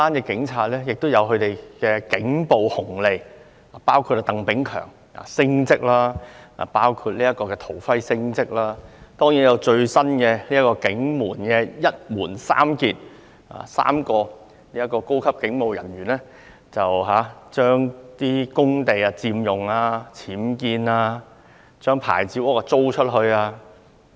警察還有"警暴紅利"，例如，鄧炳強、陶輝等人升職，還有最新的"一門三傑"，即3名高級警務人員佔用公地、僭建或將牌照屋出租。